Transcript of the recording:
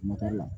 la